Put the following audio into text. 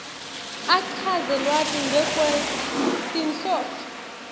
achaze lwati ngekwetinhloso